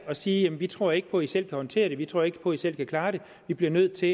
og sige jamen vi tror ikke på at i selv kan håndtere det vi tror ikke på at i selv kan klare det vi bliver nødt til